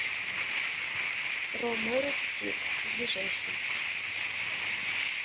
ромэро стик ближайший